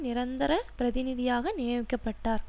நிரந்தர பிரதிநிதியாக நியமிக்க பட்டார்